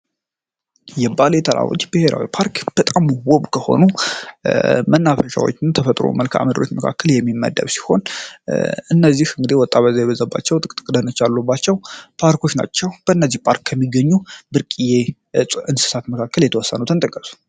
የባሌ ተራሮች ብሄራዊ ፓርክ በጣም ውቡ የሆኑ መናፈሻዎች ተፈጥሩ መልከአምድ ቤት መካከል የሚመደብ ሲሆን እነዚህ እንግዴ ወጣ ገባ የበዘባቸው ጥቅጥቅ ደነች አሉባቸው ፓርኮች ናቸው። በእነዚህ ፓርክ ከሚገኙ ብርቅዬ እንስሳት መካከል የተወሰኑትን ጥቀሱ?